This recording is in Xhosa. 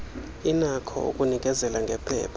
inakho ukunikezela ngephepha